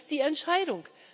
Das ist die Entscheidung.